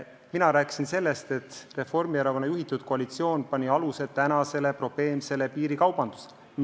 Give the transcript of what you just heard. Mina rääkisin sellest, et Reformierakonna juhitud koalitsioon pani aluse tänasele probleemsele piirikaubandusele.